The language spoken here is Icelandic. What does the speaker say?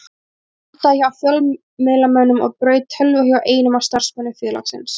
Hann endaði hjá fjölmiðlamönnum og braut tölvu hjá einum af starfsmönnum félagsins.